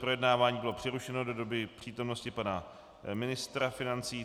Projednávání bylo přerušeno do doby přítomnosti pana ministra financí.